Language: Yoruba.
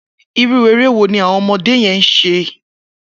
Irú éré wó ni awọn ọmọdé yèn ṣé?